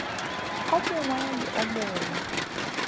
o mongwe le o mongwe